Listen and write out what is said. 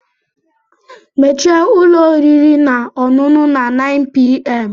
Mechie ụlọ oriri na ọṅụṅụ na 9:00pm!